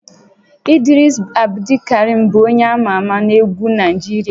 Idris Abdulkarim bụ onye ama ama na egwu Naịjirịa